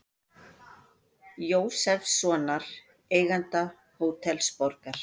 Jósefssonar, eiganda Hótels Borgar.